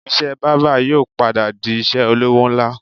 Iṣẹ́ bábà yóò padà di iṣẹ́ olówó ńlá